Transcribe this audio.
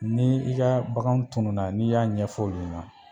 Ni i ka bakan tununa n'i y'a ɲɛfɔ olu ɲɛna